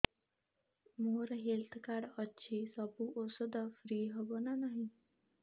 ମୋର health card ଅଛି ସବୁ ଔଷଧ ଫ୍ରି ହବ ନା ନାହିଁ